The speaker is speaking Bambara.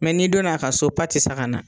Mɛ n'i donn'a ka so patisakana